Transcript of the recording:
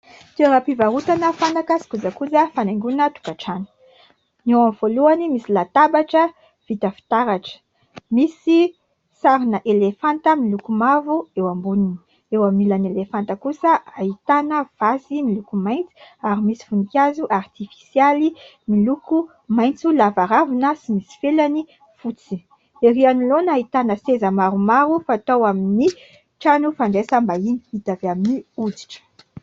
Toeram-pivarotana fanaka sy kojakoja fanaingona tokatrano. Ny eo amin'ny voalohany misy latabatra vita fitaratra, misy sarina elefanta miloko mavo eo amboniny, eo amin'ny ilan'ny elefanta kosa ahitana vasy miloko mainty ary misy vonikazo artifisialy miloko maintso lava ravina sy misy felany fotsy. Ery anolona ahitana seza maromaro fatao amin'ny trano fandraisam-bahiny vita avy amin'ny oditra.